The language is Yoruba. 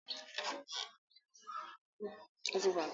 Jẹ́ kí ń rí ọ̀pá náà.!